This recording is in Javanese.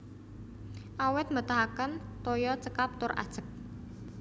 Awit mbetahaken toya cekap tur ajeg